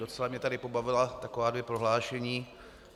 Docela mě tady pobavila taková dvě prohlášení.